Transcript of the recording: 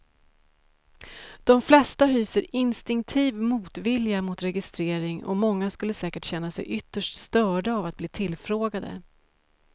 De flesta hyser instinktiv motvilja mot registrering och många skulle säkert känna sig ytterst störda av att bli tillfrågade.